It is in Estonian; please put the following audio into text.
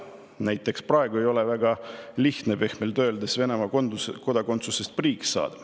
Näiteks praegu ei ole pehmelt öeldes väga lihtne Venemaa kodakondsusest priiks saada.